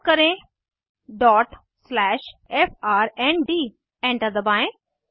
type करें dot slash फ्रंड enter दबाएं